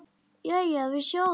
Jæja, við sjáumst þá.